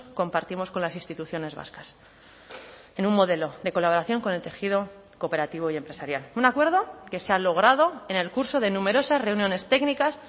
compartimos con las instituciones vascas en un modelo de colaboración con el tejido cooperativo y empresarial un acuerdo que se ha logrado en el curso de numerosas reuniones técnicas